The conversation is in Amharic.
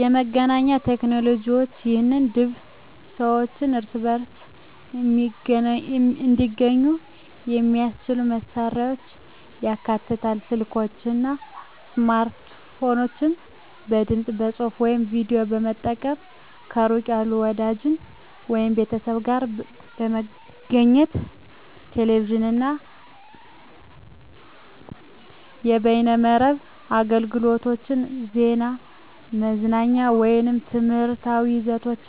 የመገናኛ ቴክኖሎጅዋች ይህም ድብ ሰዋች እርስበርስ እንዲገኙ የሚያሰችሉ መሳሪያዎችን ያካትታል፤ ስልኮች አና ስማርትፎኖች በድምጽ፣ ጽሁፍ ወይም ቪዲዮ በመጠቀም ከሩቅ ያሉ ወዳጅች ወይም ቤተሰብ ጋር ለመገኘት። ቴሌቪዥን አና የበይነመረብ አገልግሎቶች ዜና፣ መዝናኛ ወይም ትምህርታዊ ይዘቶች